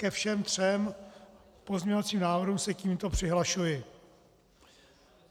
Ke všem třem pozměňovacím návrhům se tímto přihlašuji.